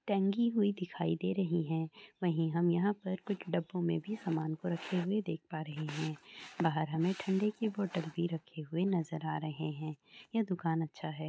छाई में हमने एक दुकान दिखाई दे रहही है जहा पर हम दुकांदेर को चैर पर बाथ हुया धक पराह है याहन पर हामे बोहउत सारे समान तंगी हुए दिखाई दे रही है या हा पर कुछ दबू में भी समा दख प रहा है बाहर हामे ठंडे कि बोतल भी रखे नजर आ रहा हैं ये दुकान अच्छा है ।